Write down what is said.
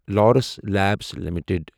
Laurus Labs limited